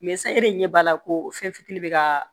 san e de ɲɛ b'a la ko fɛn fitinin bɛ ka